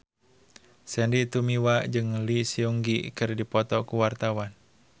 Sandy Tumiwa jeung Lee Seung Gi keur dipoto ku wartawan